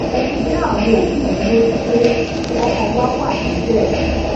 mo fi dá àwọn òbí mi lójú pé okan wa wa nibe